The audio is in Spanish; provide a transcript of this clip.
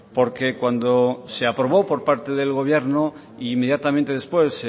porque cuando se aprobó por parte del gobierno inmediatamente después